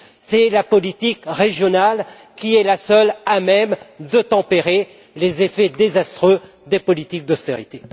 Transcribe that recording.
C'est la politique régionale qui est la seule à même de tempérer les effets désastreux des politiques d'austérité.